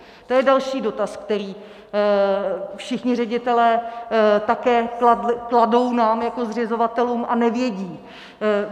To je další dotaz, který všichni ředitelé také kladou nám jako zřizovatelům, a nevědí.